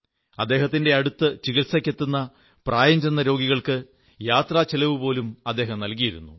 അദ്ദേഹത്തിന്റെയടുത്ത് ചികിത്സയ്ക്കെത്തുന്ന പ്രായംചെന്ന രോഗികൾക്ക് യാത്രാചിലവ്പോലും അദ്ദേഹം നല്കിയിരുന്നു